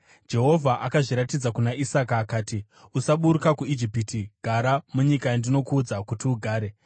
Jehovha akazviratidza kuna Isaka akati, “Usaburuka kuIjipiti; gara munyika yandinokuudza kuti ugare.